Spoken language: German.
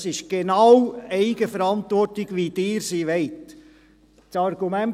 Dies ist genau die Eigenverantwortung, wie Sie sie haben wollen.